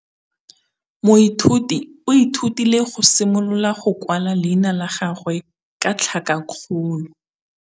Moithuti o ithutile go simolola go kwala leina la gagwe ka tlhakakgolo.